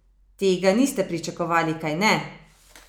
Tega niste pričakovali, kajne?